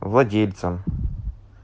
владельцем